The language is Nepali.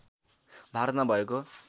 भारतमा भएको